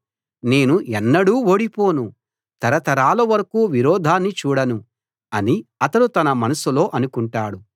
నేను ఎన్నడూ ఓడిపోను తరతరాల వరకూ విరోధాన్ని చూడను అని అతడు తన మనసులో అనుకుంటాడు